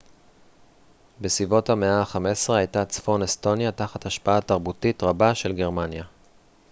בסביבות המאה ה-15 הייתה צפון אסטוניה תחת השפעה תרבותית רבה של גרמניה